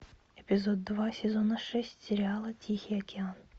эпизод два сезона шесть сериала тихий океан